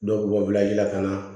Dɔw b'u ka wulaji lakana